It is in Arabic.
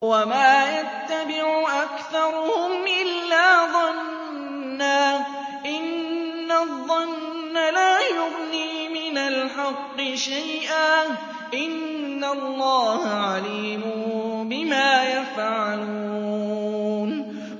وَمَا يَتَّبِعُ أَكْثَرُهُمْ إِلَّا ظَنًّا ۚ إِنَّ الظَّنَّ لَا يُغْنِي مِنَ الْحَقِّ شَيْئًا ۚ إِنَّ اللَّهَ عَلِيمٌ بِمَا يَفْعَلُونَ